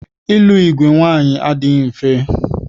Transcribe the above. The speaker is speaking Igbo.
Ịlụ igwe nwaanyị adịghị mfe.